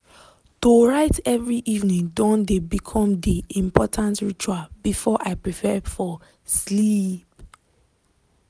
to write every evening don become de important ritual before i prepare for sleeep.